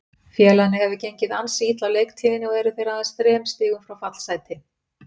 Félaginu hefur gengið ansi illa á leiktíðinni og eru þeir aðeins þrem stigum frá fallsæti.